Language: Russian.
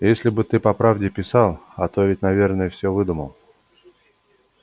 если бы ты по правде писал а то ведь наверное все выдумал